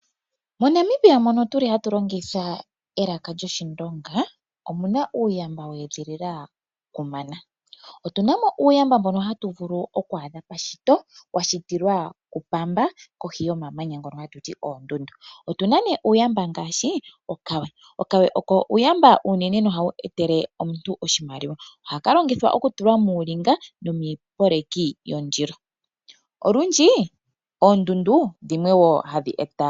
Monamibia mono tuli hatu longitha elaka lyoshindonga omuna uuyamba we edhilila kamana . Otunamo uuyamba mbono hatu vulu oku adha meshito washitilwa ku pamba wuli kohi yomamanya ngono hatu ti oondundu. Otuna uuyamba ngaashi okawe . Okawe oko uuyamba unene nohawu etele omuntu oshimaliwa. Ohaka longithwa okutula muulinga noomipeleki yondilo .